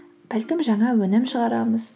бәлкім жаңа өнім шығарамыз